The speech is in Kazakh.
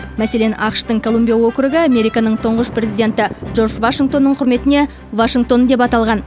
мәселен ақш тың колумбия округы американың тұңғыш президенті джордж вашингтонның құрметіне вашингтон деп аталған